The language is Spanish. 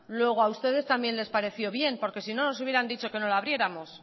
luego a ustedes también les pareció bien porque si no nos hubieran dicho que no la abriéramos